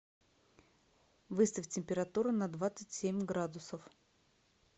выставь температуру на двадцать семь градусов